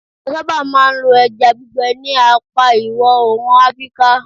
a saba ma n lo eja gbigbe ni apa iwo oorun afrika